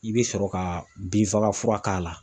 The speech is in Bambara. I be sɔrɔ ka binfagafura k'a la.